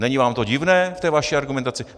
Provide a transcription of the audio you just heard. Není vám to divné v té vaší argumentaci?